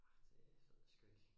Arh det ved jeg sku ik